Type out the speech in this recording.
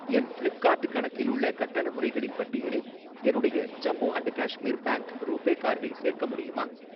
என் Flipkart கணக்கில் உள்ள கட்டண முறைகளின் பட்டியலில் என்னுடைய Jammu and Kashmir bank RuPay கார்டை சேர்க்க முடியுமா?